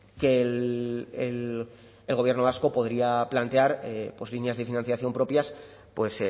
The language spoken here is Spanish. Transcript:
que el gobierno vasco podría plantear pues líneas de financiación propias pues